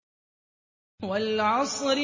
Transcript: وَالْعَصْرِ